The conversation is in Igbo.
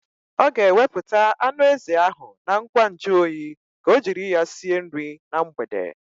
Ọ ga-ewepụta anụ ezi ahụ na ngwa nju oyi ka o jiri ya sie nri na mgbede.